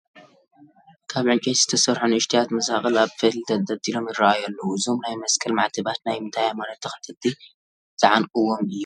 ካብ ዕንጨይቲ ዝተሰርሑ ንኡሽተያት መሳቕል ኣብ ፈትሊ ተንጠልጢሎም ይርአዩ ኣለዉ፡፡ እዞም ናይ መስቀል ማዕተባታ ናይ ምንታይ ሃይማኖት ተኸተልቲ ዝዓንቅዎም እዮም?